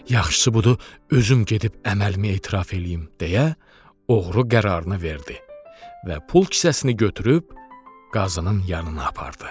Yaxşısı budur özüm gedib əməlimi etiraf eləyim”, deyə oğru qərarını verdi və pul kisəsini götürüb qazının yanına apardı.